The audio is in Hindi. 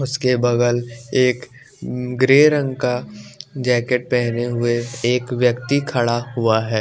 उसके बगल एक ग्रे रंग का जैकेट पहने हुए एक व्यक्ति खड़ा हुआ है।